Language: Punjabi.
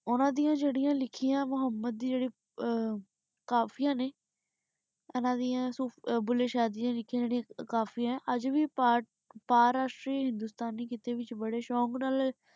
ਓਨਾਂ ਡਿਯਨ ਜੇਰਿਯਾਂ ਲਿਖ੍ਯੀਆਂ ਮੁਹਮ੍ਮਦ ਦੀ ਜੇਰੀ ਕਾਫ਼ਿਯਾ ਨੇ ਇਨਾਂ ਡਿਯਨ ਭੂਲੇ ਸ਼ਾਹ ਡਿਯਨ ਲਿਖ੍ਯੀਆਂ ਜੇਰਿਯਾਂ ਕਾਫ਼ਿਯਾ ਆਯ ਆਜ ਵੀ ਪਰਤ ਭਾਰਾਸ਼੍ਤਰੀ ਹਿੰਦੁਸਤਾਨ ਖਿਤੇ ਵਿਚ ਬਾਰੇ ਸ਼ੋਕ ਨਾਲ